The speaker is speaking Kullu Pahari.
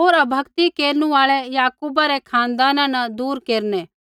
होर अभक्ति केरनु आल़ै याकूबा रै खानदाना न दूर केरनै